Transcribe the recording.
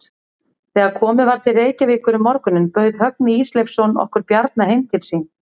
Þegar komið var til Reykjavíkur um morguninn bauð Högni Ísleifsson okkur Bjarna heim til sín.